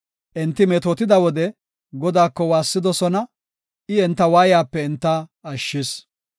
Enti metootida wode, Godaako waassidosona; I enta waayiyape enta ashshis.